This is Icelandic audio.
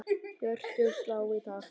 Hjörtun slá í takt.